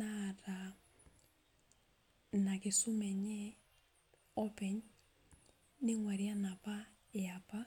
naata ina kisuma enye openy ning'uari enapa eapa.